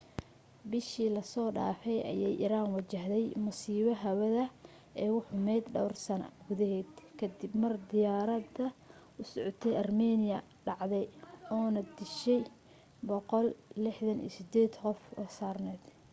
bisha lasoo dhaafay ayay iran wajahday musiibada hawada ee ugu xumayd dhawr sana gudaheeda ka dib mar diyaarad u socotay armenia dhacday oo na dishay 168 qof oo saarneed